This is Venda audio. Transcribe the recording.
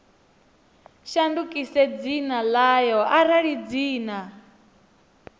shandukise dzina ḽayo arali dzina